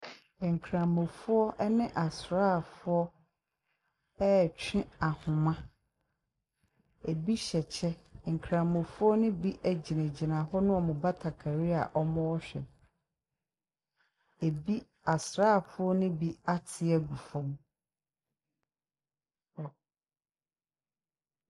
Nkramofoɔ ɛne asraafoɔ ɛtwe ahoma. Ebi hyɛ kyɛ. Nkramofoɔ no bi egyina gyina hɔ ne ɔmo bakatare a ɔmo hwɛ. Asraafoɔ no bi ate egu fam.